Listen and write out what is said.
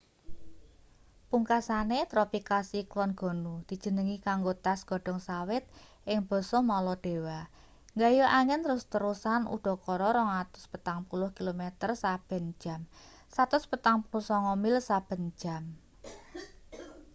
pungkasane tropical cyclone gonu dijenengi kanggo tas godhong sawit ing basa maladewa nggayuh angin terus-terusan udakara 240 kilometer saben jam 149 mil saben jam